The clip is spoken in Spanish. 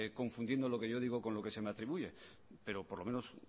confundiendo lo que yo digo con lo que se me atribuye pero por lo menos